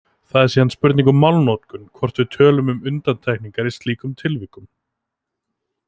Það er síðan spurning um málnotkun hvort við tölum um undantekningar í slíkum tilvikum.